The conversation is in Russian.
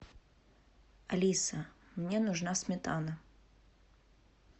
алиса мне нужна сметана